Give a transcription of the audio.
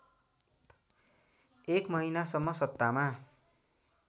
एक महिनासम्म सत्तामा